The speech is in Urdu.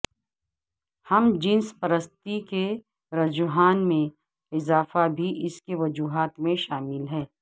ہم جنس پرستی کے رجحان میں اضافہ بھی اس کی وجوہات میں شامل ہے